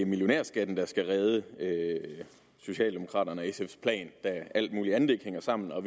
millionærskatten der skal redde socialdemokraterne og sfs plan da alt muligt andet ikke hænger sammen og